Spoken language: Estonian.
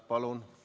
Palun!